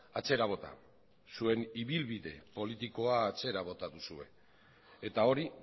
atzera bota zuen ibilbide politikoa atzera bota duzue eta hori